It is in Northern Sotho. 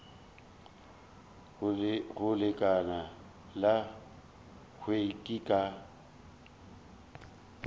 go lekala la hlweki ka